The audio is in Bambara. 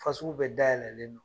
Fasugu bɛ dayɛlɛlen don